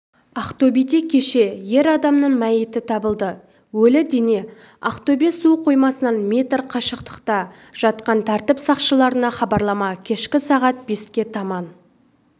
ақтөбеде кеше ер адамның мәйіті табылды өлі дене ақтөбе су қоймасынан метр қашықтықта жатқан тәртіп сақшыларына хабарлама кешкі сағат беске таман